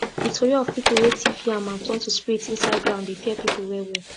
the tori of people wey thief yam and turn to spirit inside ground dey fear people well well